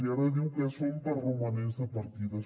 i ara diu que són per romanents de partides